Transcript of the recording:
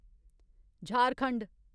Jharkhand